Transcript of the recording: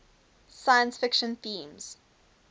science fiction themes